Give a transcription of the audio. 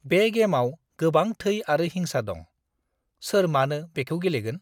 बे गेमाव गोबां थै आरो हिंसा दं। सोर मानो बेखौ गेलेगोन?